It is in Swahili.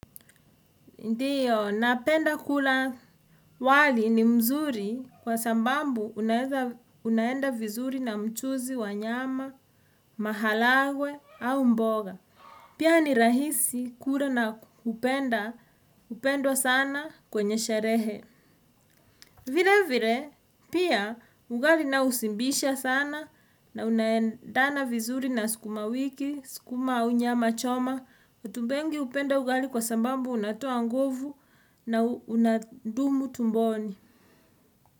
Ndiyo, napenda kula wali ni mzuri kwa sababu unaweza unaenda vizuri na mchuzi wa nyama, maharagwe au mboga. Pia ni rahisi kula na kupenda hupendwa sana kwenye sherehe. Vile vile, pia ugali nao hushibisha sana na unaendana vizuri na sukuma wiki, sukuma au nyama choma. Watu wengi hupenda ugali kwa sababu unatoa nguvu na unadumu tumboni.